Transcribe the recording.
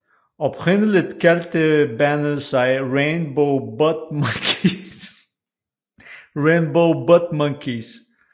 Oprindeligt kaldte bandet sig Rainbow Butt Monkeys